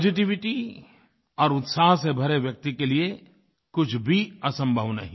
positivity और उत्साह से भरे व्यक्ति के लिए कुछ भी असंभव नहीं